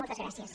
moltes gràcies